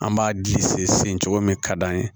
An b'a di sen cogo min ka d'an ye